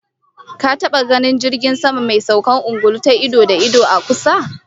Ka taba ganin jirgi mai saukar ungulu ido da ido, a kusa?